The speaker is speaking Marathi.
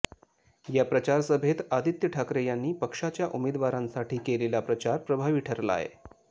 या प्रचारसभेत आदित्य ठाकरे यांनी पक्षाच्या उमेदवारांसाठी केलेला प्रचार प्रभावी ठरलाय